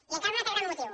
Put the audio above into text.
i encara un altre gran motiu